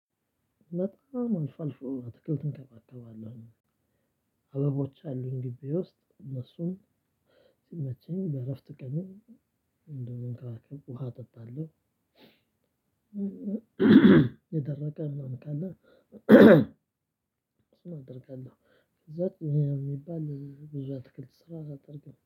በጣም አልፎ አልፎ አትክልትም እንከባከባለሁ አበቦች አሉኝ ግቢ ውስጥ እነሱም መቼም በእረፍት ቀን እንደመንከባከብ ውሃ አጠጣለሁ። የደረቀ አደርጋለሁ። ብዛት የሚባል ብዛት ክብር ስራ አደረገኝ